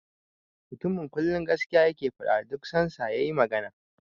The man always say the truth whenever he speaks.